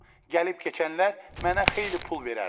Gəlib keçənlər mənə xeyli pul verərlər.